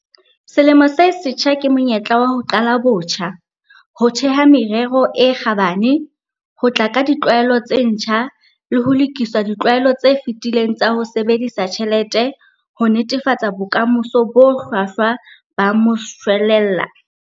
Selemo se setjha ke monyetla wa ho qala botjha, ho theha merero e kgabane, ho tla ka ditlwaelo tse ntjha le ho lokisa ditlwaelo tse fetileng tsa ho sebedisa tjhelete ho netefatsa bokamoso bo hlwahlwa ba moshwelella.